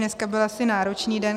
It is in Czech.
Dnešek byl asi náročný den.